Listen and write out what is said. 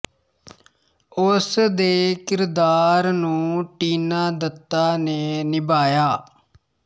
ਉਸ ਦੇ ਕਿਰਦਾਰ ਨੂੰ ਟੀਨਾ ਦੱਤਾ ਨੇ ਨਿਭਾਇਆ